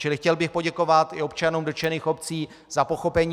Čili chtěl bych poděkovat i občanům dotčených obcí za pochopení.